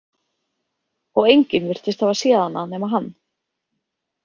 Og enginn virtist hafa séð hana nema hann.